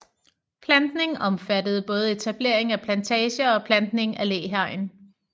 Plantning omfattede både etablering af plantager og plantning af læhegn